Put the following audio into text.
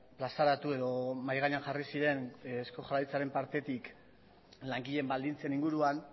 plazaratu edo mahai gainean jarri ziren eusko jaurlaritzaren partetik langileen baldintzen inguruan